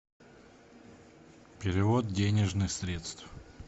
перевод денежных средств